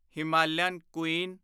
Himalayan Queen